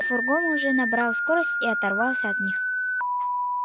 фургон уже набрал скорость и оторвался от них